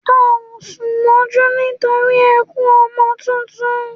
À o sùn mójú nítorí ẹkún ọmọ tuntun